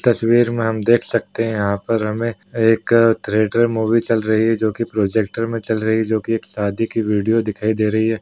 तस्वीर में हम देख सकते हैं यहाँ पर हमें एक थिएटर मूवी चल रही है जो कि प्रोजेक्टर में चल रही है जो कि एक शादी की वीडियो दिखाई दे रही है।